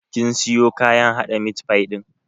Kin siyo kayan haɗa mit fai ɗin?